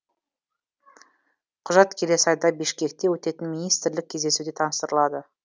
құжат келесі айда бішкекте өтетін министрлік кездесуде таныстырылады